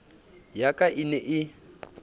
ya ka e ne e